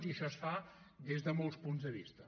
i això es fa des de molts punts de vista